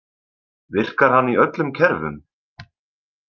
Virkar hann í öllum kerfum?